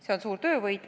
See on suur töövõit.